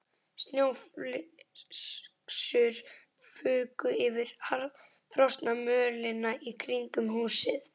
Snjóflyksur fuku yfir harðfrosna mölina í kringum húsið.